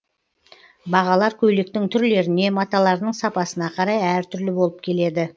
бағалар көйлектің түрлеріне маталарының сапасына қарай әр түрлі болып келеді